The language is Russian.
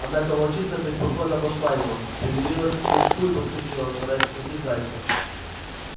однако волчица преспокойно обошла его примерилась к прыжку и подскочила стараясь схватить зайца